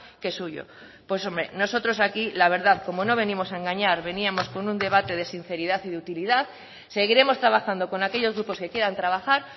que suyo pues hombre nosotros aquí la verdad como no venimos a engañar veníamos con un debate de sinceridad y de utilidad seguiremos trabajando con aquellos grupos que quieran trabajar